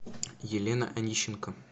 елена онищенко